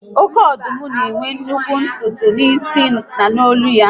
Oké ọdụm ma enwe nnukwu ntutu n'isi na n'nlo ya